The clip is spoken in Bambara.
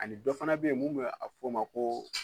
Ani dɔ fana be yen mun be a be fɔ o ma ko